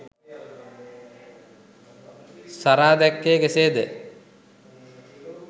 සරා දැක්කේ කෙසේද?